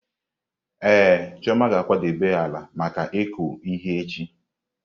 Ee, Chioma ga-akwadebe ala maka ịkụ ihe echi.